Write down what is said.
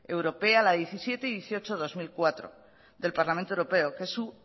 europea la diecisiete y dieciocho barra dos mil cuatro del parlamento europeo que su